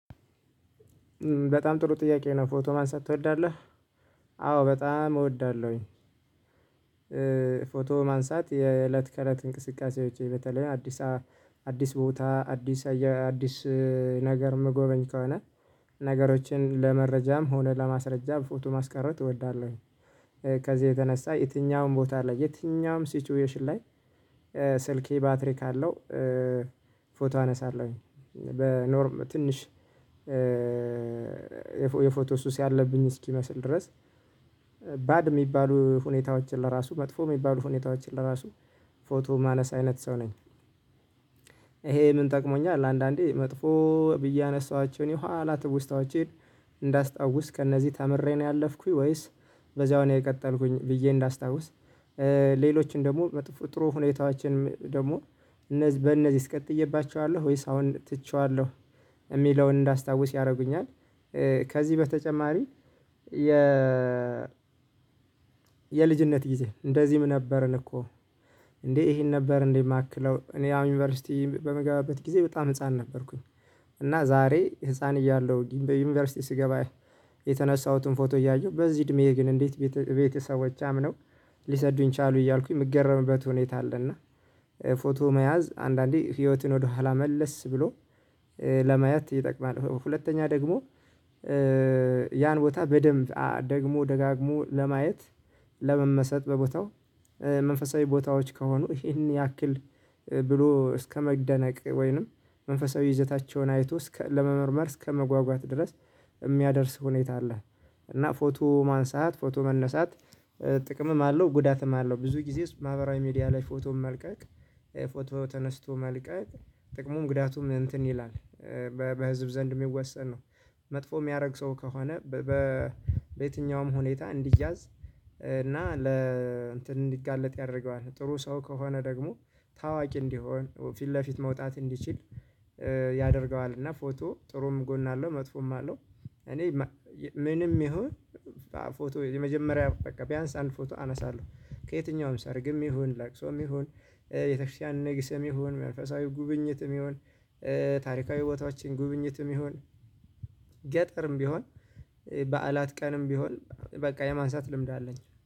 በጣም ጥሩ ጥያቄ ነው ፎቶ ማንሳት ትወዳለህ? አዎ በጣም እወዳለሁኝ። ፎቶ ማንሳት የእለት ከእለት እንቅስቃሴዎቼ በተለይ አዲስ አዲስ ቦታ አዲስ አዲስ ነገር ምጎበኝ ከሆነ ነገሮችን ለመረጃም ሆነ ለማስረጃ ፎቶ ማስቀረጥ እወዳለሁኝ። ከዚህ የተነሳ የትኛውም ቦታ ላይ የትኛውም ሲቹዌሽን ላይ ስልኬ ባትሪ ካለው ፎቶ አነሳለሁኝ። በኖርም ትንሽ የፎቶ ሱስ ያለብኝ እስኪመስል ድረስ ባድ የሚባሉ ሁኔታዎችን ለራሱ መጥፎ የሚባሉ ሁኔታዎችን ለራሱ ፎቶ ማነሳ አይነት ሰው ነኝ። ይሄ ምን ጠቅሞኛል አንዳንዴ መጥፎ ብዬ ያነሳኋቸው የኋላ ትውስታዎቼን እንዳስታውስ ከእነዚህ ተምሬ ነው ያለፍኩኝ ወይስ በዚያው ነው የቀጠልኩኝ ብዬ እንዳስታውስ? ሌሎችን ደግሞ መጥፎ ጥሩ ሁኔታዎችን ደግሞ እነዚህ በእነዚህስ ቀጥዬባቸዋለሁ ወይስ አሁን ትቼዋለሁ የሚለውን እንዳስታውስ ያደርጉኛል። ከዚህ በተጨማሪ የ የልጅነት ጊዜ እንደዚህም ነበርን እኮ እንዴ ይሄን ነበር እንዴ የማክለው እኔ አሁን ዩኒቨርሲቲ በምገባበት ጊዜ በጣም ህፃን ነበርኩኝ። እና ዛሬ ህፃን እያለሁ በዩኒቨርሲቲ ስገባ የተነሳሁትን ፎቶ እያየሁ በዚህ እድሜዬ ግን እንዴት ቤተሰቦቼ አምነው ሊሰዱኝ ቻሉ እያልኩኝ የምገረምበት ሁኔታ አለና። ፎቶ መያዝ አንዳንዴ ህይወትን ወደኋላ መለስ ብሎ ለማየት ይጠቅማል። ሁለተኛ ደግሞ ያን ቦታ በደንብ ደግሞ ደጋግሞ ለማየት ለመመሰጥ በቦታው መንፈሳዊ ቦታዎች ከሆኑ ይሄን ያክል ብሎ እስከመደነቅ ወይንም መንፈሳዊ ይዘታቸውን አይቶ እስከ ለመመርመር እስከመጓጓት ድረስ የሚያደርስ ሁኔታ አለ። እና ፎቶ ማንሳት ፎቶ መነሳት ጥቅምም አለው ጉዳትም አለው ብዙ ጊዜ ማህበራዊ ሚዲያ ላይ ፎቶን መልቀቅ ፎቶ ተነስቶ መልቀቅ ጥቅሙ ጉዳቱም እንትን ይላል በህዝብ ዘንድ የሚወሰን ነው። መጥፎ የሚያደርግ ሰው ከሆነ በየትኛውም ሁኔታ እንዲያዝ እና ለ እንትን እንዲጋለጥ ያደርገዋል ጥሩ ሰው ከሆነ ደግሞ ታዋቂ እንዲሆን ፊት ለፊት መውጣት እንዲችል ያደርገዋል። እና ፎቶ ጥሩም ጎን አለው መጥፎም አለው። እኔ ምንም ይሁን ፎቶ የመጀመሪያ በቃ ቢያንስ አንድ ፎቶ አነሳለሁ ከየትኛውም ሰርግም ይሁን ላቅሶም ይሁን የቤተክርስቲያን ንግስም ይሁን መንፈሳዊ ጉብኝትም ይሁን ታሪካዊ ቦታዎችን ጉብኝትም ይሁን ገጠርም ቢሆን በዓላት ቀንም ቢሆን በቃ የማንሳት ልምድ አለኝ